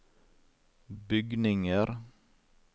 bygninger